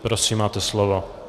Prosím, máte slovo.